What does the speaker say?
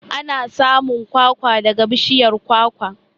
Ana samun kwakwa daga bishiyar kwakwa.